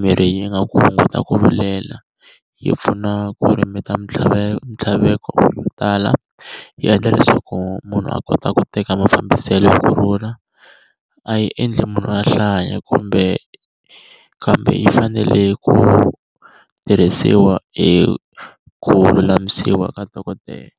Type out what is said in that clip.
mirhi yi nga ku hunguta ku vilela, yi pfuna ku limit-a ya mintlhaveko ya ku tala, yi endla leswaku munhu a kota ku teka mafambiselo hi kurhula, a yi endli munhu a hlanya kumbe kambe yi fanele ku tirhisiwa hi ku lulamisiwa ka dokodela.